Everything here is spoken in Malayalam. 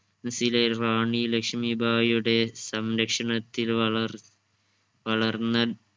റാണി ലക്ഷ്മി ഭായുടെ സംരക്ഷണത്തിൽ വളർ വളർന്ന